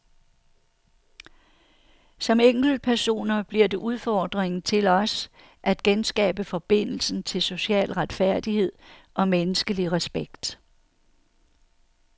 Som enkeltpersoner bliver det udfordringen til os at genskabe forbindelsen til social retfærdighed og menneskelig respekt.